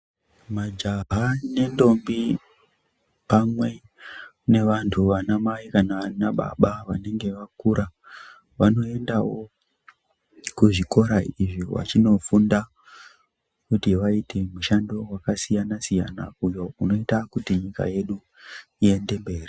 Majaha nentombi pamwe nevantu , ana mai kana ana baba vanenge vakura vanoendawo kuzvikora izvi vachinofunda kuti vaite mishando yakasiyana siyana uyo unoita kuti nyika yedu iyende mberi.